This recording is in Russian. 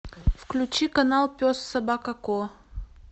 включи канал пес собака ко